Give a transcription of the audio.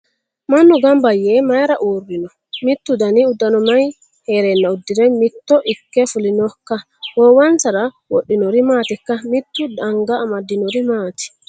Mannu gamba yee mayiira uurrino? Mittu dani uddanono mayi heerenna uddire mitto ikke fulinokka? Goowinsarano wodhinori maatikka? Mitu anga amadinori maati?